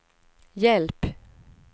hjälp